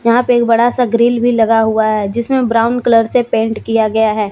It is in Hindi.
यहां पे एक बड़ा सा ग्रिल भी लगा हुआ है जिसमें ब्राउन कलर से पेंट किया गया है।